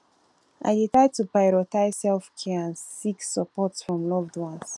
i dey try to prioritize selfcare and seek support from loved ones